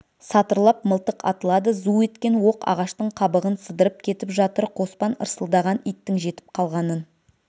сатырлап мылтық атылады зу еткен оқ ағаштың қабығын сыдырып кетіп жатыр қоспан ырсылдаған иттің жетіп қалғанын